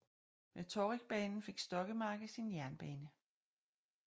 Med Torrigbanen fik Stokkemarke sin jernbane